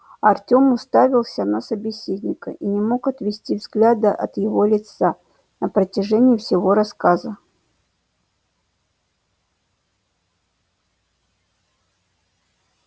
артем уставился на собеседника и не мог отвести взгляда от его лица на протяжении всего рассказа